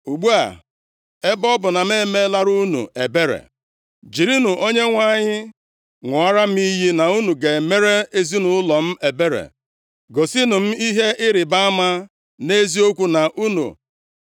“Ugbu a, ebe ọ bụ na m emeelara unu ebere, jirinụ Onyenwe anyị ṅụọrọ m iyi na unu ga-emere ezinaụlọ m ebere. Gosinụ m ihe ịrịbama nʼeziokwu,